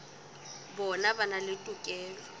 bona ba na le tokelo